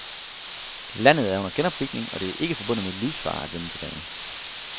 Landet er under genopbygning, og det er ikke forbundet med livsfare at vende tilbage.